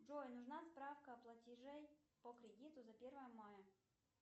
джой нужна справка о платеже по кредиту за первое мая